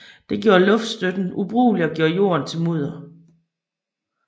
Det gjorde luftstøtten ubrugelig og gjorde jorden til mudder